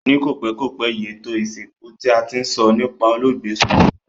Ni kòpékòpé yi, ètò ìsìnkú ti a ti n so nipa olóògbé sojú mi